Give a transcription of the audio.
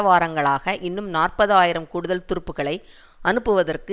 வாரங்களாக இன்னும் நாற்பது ஆயிரம் கூடுதல் துருப்புகளை அனுப்புவதற்கு